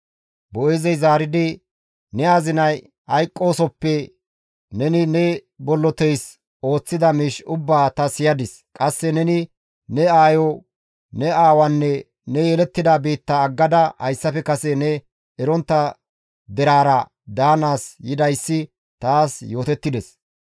Boo7eezey zaaridi, «Ne azinay hayqqoosoppe neni ne bolloteys ooththida miish ubbaa ta siyadis. Qasse neni ne aayo, ne aawaanne ne yelettida biitta aggada hayssafe kase ne erontta deraara daanaas yidayssi taas yootettides.